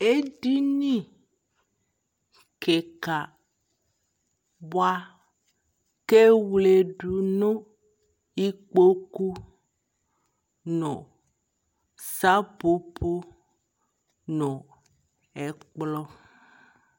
Ɛdini kika buakɛ wle du nu ikpoku nu sapopo nu ɛkplɔ